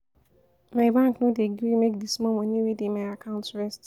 My bank no wan gree make di small moni wey dey my account rest.